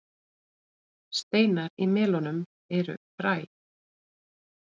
Steinar í melónum eru fræ.